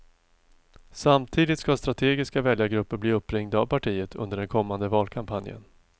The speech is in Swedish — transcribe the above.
Samtidigt ska strategiska väljargrupper bli uppringda av partiet under den kommande valkampanjen.